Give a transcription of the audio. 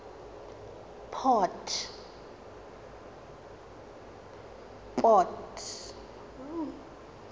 port